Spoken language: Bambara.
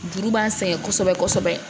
Juru b'an sɛgɛn kosɛbɛ kosɛbɛ